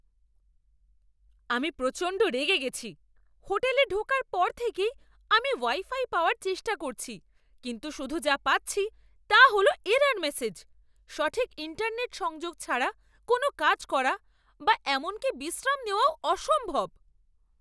আমি প্রচণ্ড রেগে গেছি! হোটেলে ঢোকার পর থেকেই আমি ওয়াই ফাই পাওয়ার চেষ্টা করছি কিন্তু শুধু যা পাচ্ছি তা হল এরর ম্যাসেজ। সঠিক ইন্টারনেট সংযোগ ছাড়া কোনও কাজ করা বা এমনকি বিশ্রাম নেওয়াও অসম্ভব।